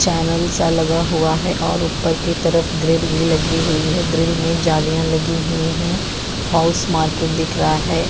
Channel सा लगा हुआ है और ऊपर की तरफ ग्रिल भी लगी हुई है ग्रिल में जालियां लगी हुई हैं हॉउस मार्केट दिख रहा है।